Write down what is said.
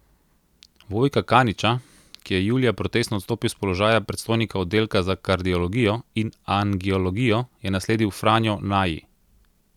Vojka Kaniča, ki je julija protestno odstopil s položaja predstojnika oddelka za kardiologijo in angiologijo, je nasledil Franjo Naji.